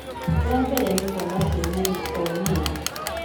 Wa mbere nĩ kwaga kwĩmenya o nĩa